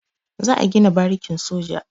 Za a gina barikin soja.